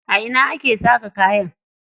A ina ake saƙa kaya?